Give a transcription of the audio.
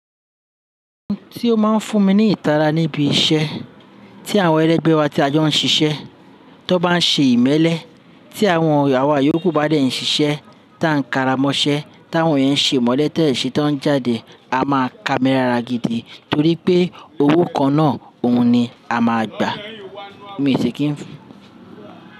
Ohun tí ó máa ń fún mi ní ìtara níbi iṣẹ́ tí àwọn ẹlẹgbẹ́ wa tí a jọ ń ṣiṣẹ́, tó bá ń ṣe ìmẹ́lẹ́, tí àwọn àwa yókù bá dẹ ń ṣiṣẹ́, tá ń karamọṣẹ́, táwọn ènìyàn ń ṣe ìmọ́lẹ̀ tẹ́ẹ̀ ṣe tó ń jáde, a máa kámi lara gidi torí pé owó kan náà òun ni a máa gbà. Mí èṣì kí ń fún.